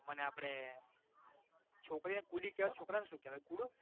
મને આપડે છોકરીઓને કુડી કેવાય છોકરાને શું કેવાય? કુડો?